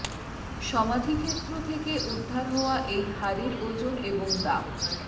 সমাধিক্ষেত্র থেকে উদ্ধার হওয়া এই হারের ওজন এবং দাম